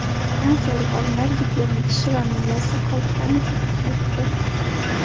Fransiyalik olimlar Gitlerning tishi va miyasi qoldiqlarini tadqiq etdi.